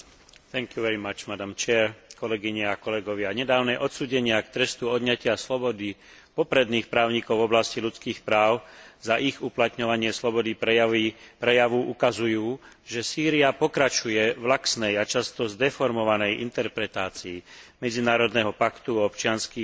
Nedávne odsúdenia k trestu odňatia slobody popredných právnikov v oblasti ľudských práv, za ich uplatňovanie slobody prejavu ukazujú, že Sýria pokračuje v laxnej a často zdeformovanej interpretácii Medzinárodného paktu o občianskych a politických právach, ktorého je signatárom.